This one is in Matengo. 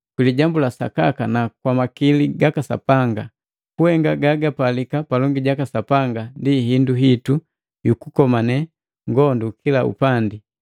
Kwa lijambu la sakaka na kwa makili gaka Sapanga. Kuhenga gagapalika palongi jaka Sapanga ndi hindu hitu yukukomane ngondu kila upandi,